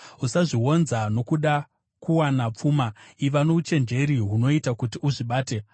Usazvionza nokuda kuwana pfuma; iva nouchenjeri hunoita kuti uzvibate.